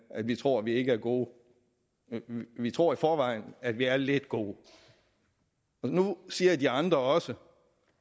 at vi tror vi ikke er gode vi tror i forvejen at vi er lidt gode nu siger de andre også